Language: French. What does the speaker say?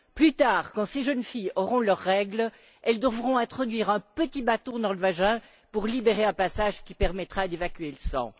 Plus tard, quand ces jeunes filles auront leurs règles, elles devront introduire un petit bâton dans le vagin pour libérer un passage qui permettra d'évacuer le sang.